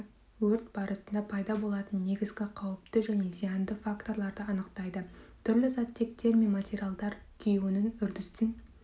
өрт барысында пайда болатын негізгі қауіпті және зиянды факторларды анықтайды түрлі заттектер мен материалдар күюінің үрдістің